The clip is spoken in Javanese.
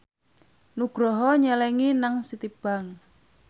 Nugroho nyelengi nang Citibank